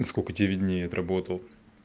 на сколько тебе виднее я отработал